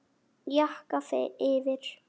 Jakka yfir?